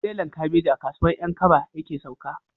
Tirelan kabeji a kasuwan 'yan kaba yake sauka